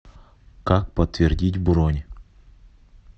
как подтвердить бронь